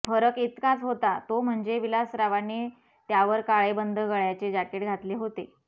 फरक इतकाच होता तो म्हणजे विलासरावांनी त्यावर काळे बंद गळयाचे जॅकेट घातले होते